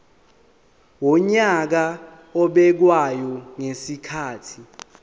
wonyaka obekwayo ngezikhathi